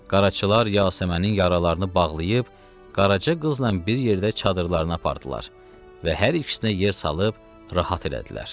Qaraçılar Yasəmənin yaralarını bağlayıb qarajı qızla bir yerdə çadırlarını apardılar və hər ikisinə yer salıb rahat elədilər.